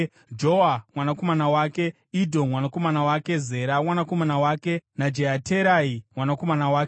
Joa mwanakomana wake Idho mwanakomana wake, Zera mwanakomana wake naJeaterai mwanakomana wake.